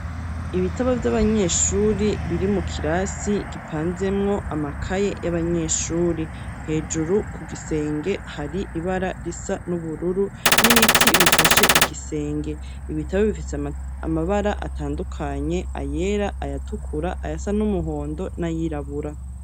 Ibitabo vy'abanyeshuri, biri mu kirasi gipanzemwo amakaye y'abanyeshuri; hejuru ku gisenge, hari ibara risa n'ubururu, n'ibiti bifashe igisenge; ibitabo bifise amabara atandukanye, ayera, ayatukura, ayasa n'umuhondo n'ayirabura.